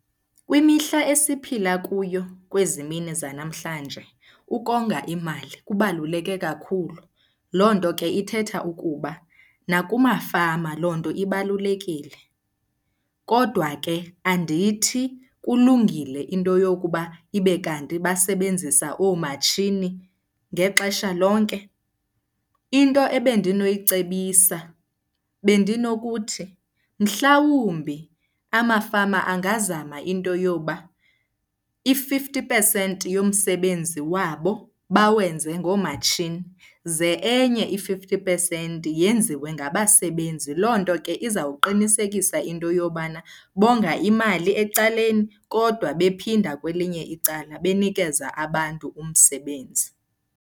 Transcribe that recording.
Kwimihla esiphila kuyo kwezi mini zanamhlanje ukonga imali kubaluleke kakhulu. Loo nto ke ithetha ukuba nakumafama loo nto ibalulekile, kodwa ke andithi kulungile into yokuba ibe kanti basebenzisa oomatshini ngexesha lonke. Into ebendinoyicebisa bendinokuthi, mhlawumbi amafama angazama into yoba i-fifty percent yomsebenzi wabo bawenze ngoomatshini, ze enye i-fifty percent yenziwe ngabasebenzi. Loo nto ke izawuqinisekisa into yobana bonga imali ecaleni kodwa bephinda kwelinye icala benikeza abantu umsebenzi.